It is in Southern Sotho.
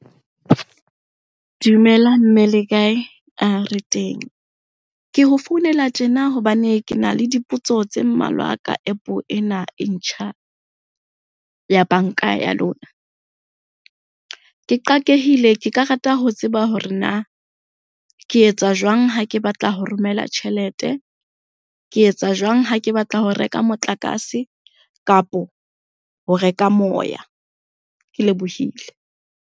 Dumela mme le kae? re teng. Ke ho founela tjena hobane ke na le dipotso tse mmalwa ka App ena e ntjha ya banka ya lona. Ke qakeheile, ke ka rata ho tseba hore na ke etsa jwang ha ke batla ho romela tjhelete? Ke etsa jwang ha ke batla ho reka motlakase? kapo ho reka moya, ke lebohile.